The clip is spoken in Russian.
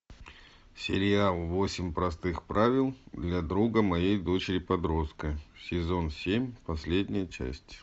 сериал восемь простых правил для друга моей дочери подростка сезон семь последняя часть